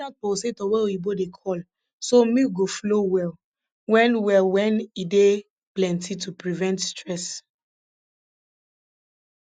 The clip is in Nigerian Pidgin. buy dat pulsator wey oyibo dey call so milk go flow well wen well wen e dey plenty to prevent stress